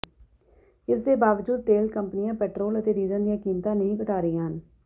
ਇਸ ਦੇ ਬਾਵਜੂਦ ਤੇਲ ਕੰਪਨੀਆਂ ਪੈਟਰੋਲ ਅਤੇ ਡੀਜ਼ਲ ਦੀਆਂ ਕੀਮਤਾਂ ਨਹੀਂ ਘਟਾ ਰਹੀਆਂ ਹਨ